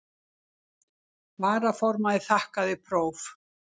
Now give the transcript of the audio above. Varaformaður þakkaði próf.